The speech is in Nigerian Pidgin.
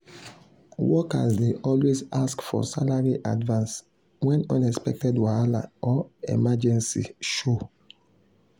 workers dey always ask for salary advance when unexpected wahala or emergency show.